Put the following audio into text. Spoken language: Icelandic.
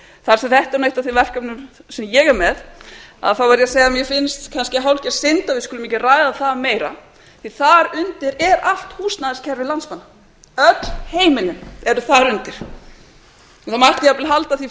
þar sem þetta er eitt af þeim verkefnum sem ég er með þá verð ég að segja að mér finnst kannski hálfgerð synd að við skulum ekki ræða það meira því þar undir er allt húsnæðiskerfi landsmanna öll heimilin eru þar undir það mætti jafnvel halda því